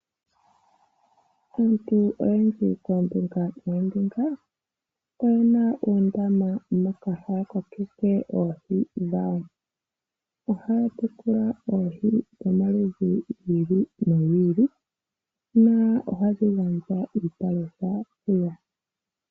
Aantu oyendji koombinga noombinga oyena uundama moka haa kokeke oohi dhawo. Ohaa tekula oohi dhomaludhi gi ili nogi ili. Nohadhi gandja iipalutha .